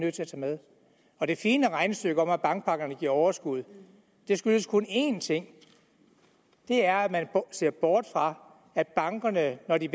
at tage med og det fine regnestykke med at bankpakkerne giver overskud skyldes kun en ting og det er at man ser bort fra at bankerne når de